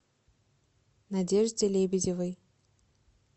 надежде лебедевой